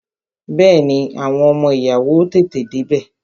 Bẹẹni, àwọn ọmọ ìyàwó ó tètè dé bẹ